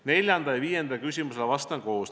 Neljandale ja viiendale küsimusele vastan koos.